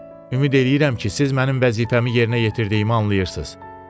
Ümid eləyirəm ki, siz mənim vəzifəmi yerinə yetirdiyimi anlayırsız.